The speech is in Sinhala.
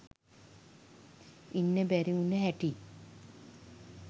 ඉන්න බැරිවුන හැටි.